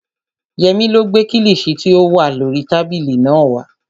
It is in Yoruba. Yẹmí ló gbé kílìṣí tí ó wà lórii tábìlì náà wá